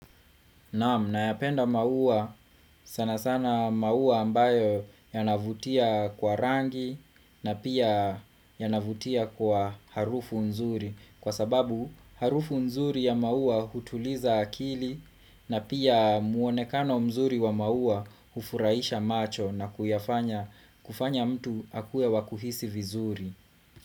Naam nayapenda maua sana sana maua ambayo yanavutia kwa rangi na pia yanavutia kwa harufu nzuri kwa sababu harufu nzuri ya maua hutuliza akili na pia muonekano mzuri wa maua hufurahisha macho na kuyafanya kufanya mtu akue wakuhisi vizuri.